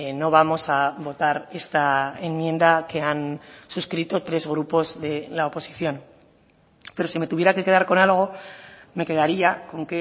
no vamos a votar esta enmienda que han suscrito tres grupos de la oposición pero sí me tuviera que quedar con algo me quedaría con